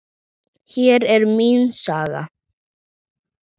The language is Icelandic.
Hér er mín saga.